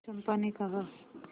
चंपा ने कहा